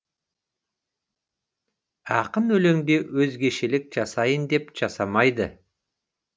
ақын өлеңде өзгешелік жасайын деп жасамайды